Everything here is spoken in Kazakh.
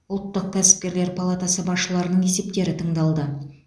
ұлттық кәсіпкерлік палатасы басшыларының есептері тыңдалды